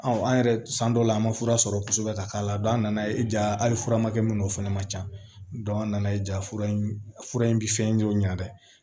an yɛrɛ san dɔw la an ma fura sɔrɔ kosɛbɛ ka k'a la a nana ye ja hali fura ma kɛ min n'o fɛnɛ ma ca an nana ye jaa fura in fura in bɛ fɛn jɔ ɲɛ dɛ